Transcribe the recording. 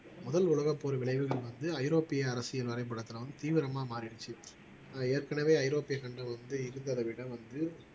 முதல் உலகப்போர் விளைவுகள் வந்து ஐரோப்பிய அரசியல் வரைபடத்தில வந்து தீவிரமா மாறிடுச்சு ஆஹ் ஏற்கனவே ஐரோப்பிய சண்டை வந்து இரு தரவிடம் வந்து